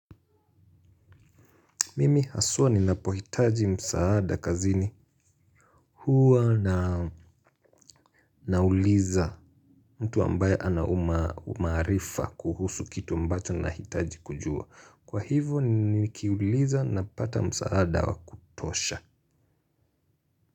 Mimi haswa ninapohitaji msaada kazini huwa na nauliza mtu ambaye anaumaarifa kuhusu kitu ambacho nahitaji kujua. Kwa hivo nikiuliza napata msaada wa kutosha.